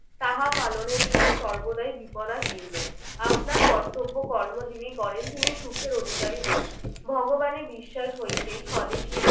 তাহা পালনের পর সর্বদাই বিপদাকীর্ণ আপনার কর্তব্য কর্ম যিনি করেন তিনি সুখের অধিকারী হন। ভগবানের বিশ্বাস হইতেই স্বদেশীর